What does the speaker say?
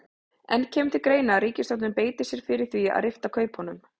En kemur til greina að ríkisstjórnin beiti sér fyrir því að rifta kaupunum?